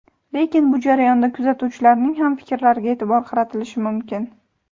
Lekin bu jarayonda kuzatuvchilarning ham fikrlariga e’tibor qaratilishi mumkin.